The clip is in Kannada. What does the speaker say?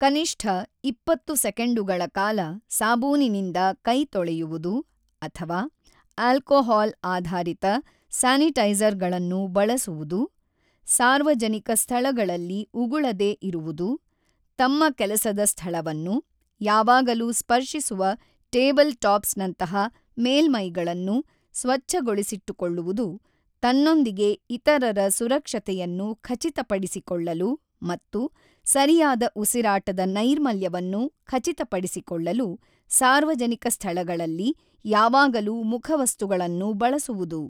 ಕನಿಷ್ಠ ಇಪ್ಪತ್ತು ಸೆಕೆಂಡುಗಳ ಕಾಲ ಸಾಬೂನಿನಿಂದ ಕೈ ತೊಳೆಯುವುದು ಅಥವಾ ಆಲ್ಕೋಹಾಲ್ ಆಧಾರಿತ ಸ್ಯಾನಿಟೈಜರ್ಗಳನ್ನು ಬಳಸುವುದು, ಸಾರ್ವಜನಿಕ ಸ್ಥಳಗಳಲ್ಲಿ ಉಗುಳದೇ ಇರುವುದು ತಮ್ಮ ಕೆಲಸದ ಸ್ಥಳವನ್ನು, ಯಾವಾಗಲೂ ಸ್ಪರ್ಶಿಸುವ ಟೇಬಲ್ ಟಾಪ್ಸ್ನಂತಹ ಮೇಲ್ಮೈಗಳನ್ನು ಸ್ಚಚ್ಛಗೊಳಿಸಿಟ್ಟುಕೊಳ್ಳುವುದು ತನ್ನೊಂದಿಗೆ ಇತರರ ಸುರಕ್ಷತೆಯನ್ನು ಖಚಿತಪಡಿಸಿಕೊಳ್ಳಲು ಮತ್ತು ಸರಿಯಾದ ಉಸಿರಾಟದ ನೈರ್ಮಲ್ಯವನ್ನು ಖಚಿತಪಡಿಸಿಕೊಳ್ಳಲು ಸಾರ್ವಜನಿಕ ಸ್ಥಳಗಳಲ್ಲಿ ಯಾವಾಗಲೂ ಮುಖವಸ್ತುಗಳನ್ನು ಬಳಸುವುದು.